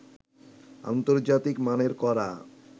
আন্তর্জাতিক মানের করা